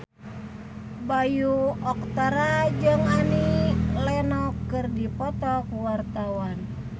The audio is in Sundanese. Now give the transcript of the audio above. Bayu Octara jeung Annie Lenox keur dipoto ku wartawan